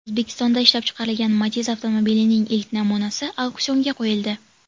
O‘zbekistonda ishlab chiqarilgan Matiz avtomobilining ilk namunasi auksionga qo‘yildi.